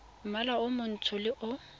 mmala o montsho le o